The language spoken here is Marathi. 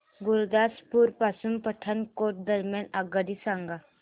गुरुदासपुर पासून पठाणकोट दरम्यान आगगाडी सांगा